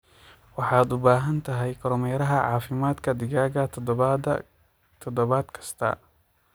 Waxaad u baahan tahay kormeeraha caafimaadka digaagga toddobaad kasta.